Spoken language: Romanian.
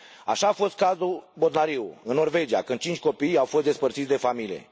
Așa fost cazul Botnariu, în Norvegia, când cinci copii au fost despărțiți de familie.